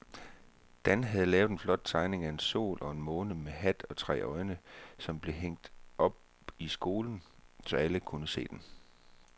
Dan havde lavet en flot tegning af en sol og en måne med hat og tre øjne, som blev hængt op i skolen, så alle kunne se den.